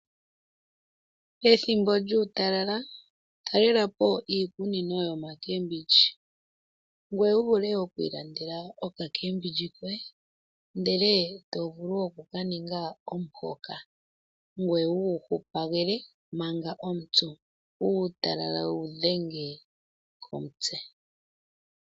Pethimbo lyuutalala talelapo iikunino yiikwamboga yopashinanena , ngoye wuvule okwiilandela okamboga koye kopashinanena eto ka ninga omuhoka, ngoye wuhupagele manga omupyu. Uutalala wewu dhenge komitse.